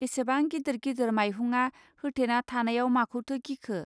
एसेबां गिदिर गिदिर मायहुंआ होथेना थानायाव माखौथो गिखो